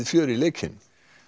fjör í leikinn